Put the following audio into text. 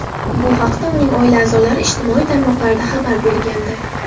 Bu haqda uning oila a’zolari ijtimoiy tarmoqlarda xabar bergandi .